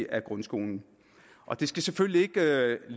af grundskolen og det skal selvfølgelig